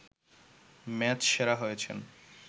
match সেরা হয়েছেন